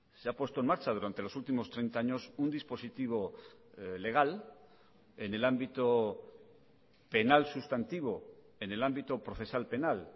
se ha puesto en marcha durante los últimos treinta años un dispositivo legal en el ámbito penal sustantivo en el ámbito procesal penal